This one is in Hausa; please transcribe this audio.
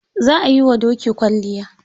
Za a yiwa doki kwalliya.